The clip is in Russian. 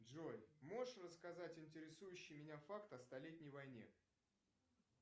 джой можешь рассказать интересующий меня факт о столетней войне